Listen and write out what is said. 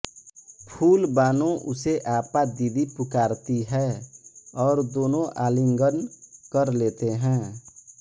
फूल बानो उसे आपा दीदी पुकारती है और दोनों आलिंगन कर लेते हैं